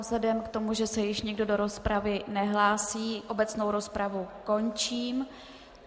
Vzhledem k tomu, že se již nikdo do rozpravy nehlásí, obecnou rozpravu končím.